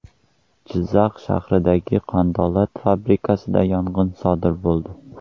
Jizzaxdagi qandolat fabrikasida yong‘in sodir bo‘ldi.